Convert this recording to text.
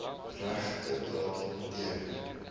regte datum teken